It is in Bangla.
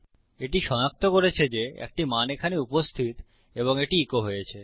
এটি সনাক্ত করেছে যে একটি মান এখানে উপস্থিত এবং এটি ইকো হয়েছে